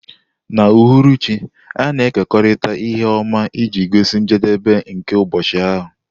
N'uhuruchi, a na-ekekọrịta ihe ọma iji gosi njedebe nke ụbọchị ahụ.